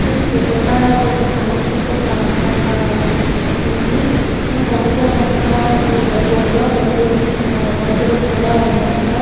చూడటానికి ఒక సముద్రపు ప్రాంతం లాగా ఉంది. ఈ సముద్ర ప్రాంతానికి దగ్గరలో పెద్ద ఎత్తిన భగవంతుడు కూడా ఉన్నట్టుగా --